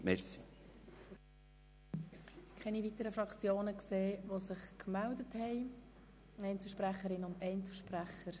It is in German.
Wie ich sehe, melden sich keine weiteren Fraktionssprechenden mehr zu Wort und auch keine Einzelsprecherinnen und Einzelsprecher.